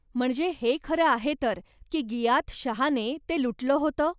म्हणजे हे खरं आहे तर की गियाथ शहाने ते लुटलं होतं?